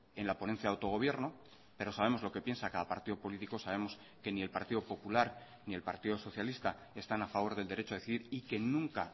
en la ponencia de autogobierno pero sabemos lo que piensa cada partido político sabemos que ni el partido popular ni el partido socialista están a favor del derecho a decidir y que nunca